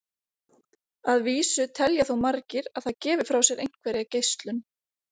Að vísu telja þó margir að það gefi frá sér einhverja geislun.